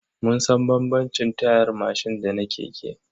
Mun san bambamcin tayar mashin da na keke.